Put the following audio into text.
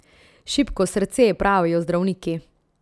Šibko srce, pravijo zdravniki.